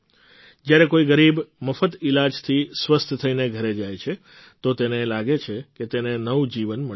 જ્યારે કોઈ ગરીબ મફત ઈલાજથી સ્વસ્થ થઈને ઘરે જાય છે તો તેને લાગે છે કે તેને નવું જીવન મળ્યું છે